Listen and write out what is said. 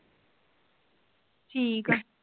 ਠੀਕ ਆ